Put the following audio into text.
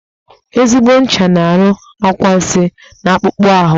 Ezigbo ncha na-arụ anwansị n'akpụkpọ ahụ